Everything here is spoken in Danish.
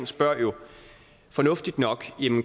spørger jo fornuftigt nok